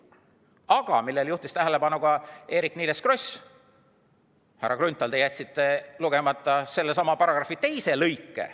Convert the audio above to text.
Aga millele juhtis tähelepanu ka Eerik-Niiles Kross: härra Grünthal, te jätsite lugemata sellesama paragrahvi teise lõike.